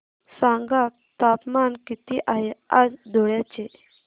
सांगा तापमान किती आहे आज धुळ्याचे